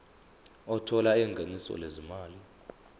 othola ingeniso lezimali